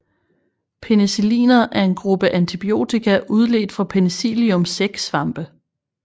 Penicilliner er en gruppe antibiotika udledt fra Penicillium sæksvampe